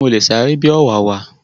Mo le sáré bi ọ̀wàwà